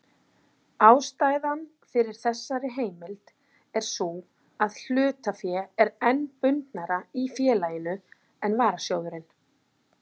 Ástæðan fyrir þessari heimild er sú að hlutafé er enn bundnara í félaginu en varasjóðurinn.